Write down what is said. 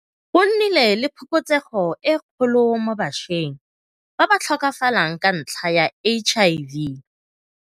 Go nnile le phokotsego e kgolo mo bašweng ba ba tlhokafalang ka ntlha ya HIV.